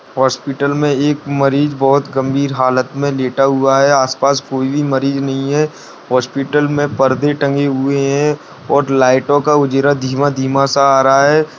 Hospital में एक मरीज बहुत गंभीर हालत में लेटा हुआ है आस-पास कोई भी मरीज नहीं है हॉस्पिटल में पर्दे टंगे हुए है और लाइटों का उजरा धीमा-धीमा सा आ रहा है।